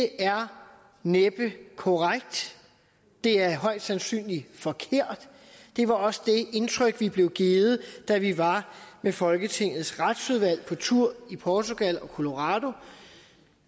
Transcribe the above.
er næppe korrekt det er højst sandsynligt forkert og det var også det indtryk vi blev givet da vi var med folketingets retsudvalg på tur i portugal og colorado